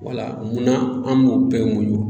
Wala munna an b'o bɛɛ muɲu